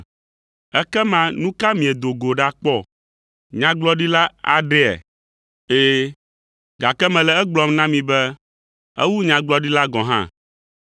Ekema nu ka miedo go ɖakpɔ? Nyagblɔɖila aɖea? Ɛ̃, gake mele egblɔm na mi be ewu nyagblɔɖila gɔ̃ hã,